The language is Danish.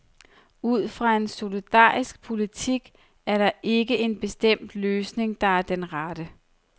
Ud fra en solidarisk politik er der ikke en bestemt løsning, der er den rette.